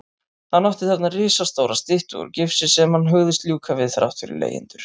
Hann átti þarna risastóra styttu úr gifsi sem hann hugðist ljúka við þrátt fyrir leigjendur.